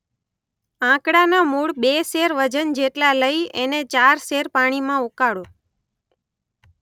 આંકડાના મૂળ બે શેર વજન જેટલા લઇ એને ચાર શેર પાણીમાં ઉકાળો.